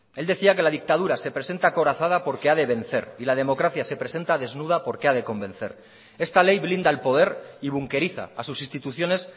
él decía que la dictadura se presenta acorazada porque ha de vencer y la democracia se presenta desnuda porque ha de convencer esta ley blinda al poder y bunqueriza a sus instituciones